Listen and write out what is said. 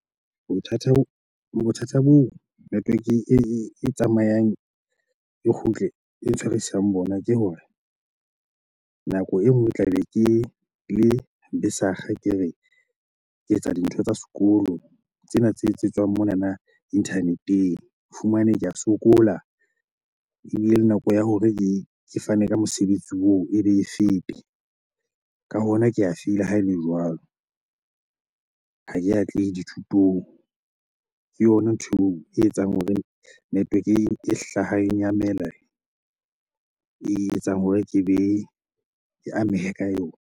Bothata bo bothata bo network e tsamayang e kgutle e ntshwarisang bona, ke hore nako e nngwe tlabe ke le besakga ke re ke etsa dintho tsa sekolo tsena tse etsetswang monana internet-ng. O fumane ke a sokola ebile le nako ya hore ke ke fane ka mosebetsi oo e be e fete. Ka hona, ke a feila ha e le jwalo. Ha ke atlehe dithutong, ke yona ntho e etsang hore network e hlahang ya mele e etsang hore ke be ke amehe ka yona.